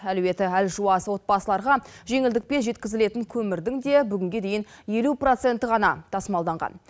әлеуеті әлжуаз отбасыларға жеңілдікпен жеткізілетін көмірдің де бүгінге дейін елу проценті ғана тасымалданған